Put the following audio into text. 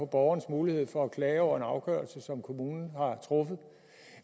borgerens mulighed for at klage over en afgørelse som kommunen har truffet